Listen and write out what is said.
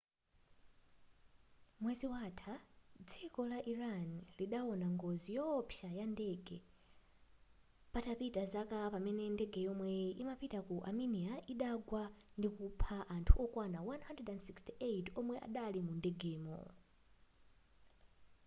mwezi watha dziko la iran lidaona ngozi yowopsa yandege patapita zaka pamene ndege yomwe imapita ku armenia idagwa ndikupha anthu okwana 168 omwe adali mundegemo